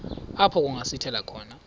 apho kungasithela khona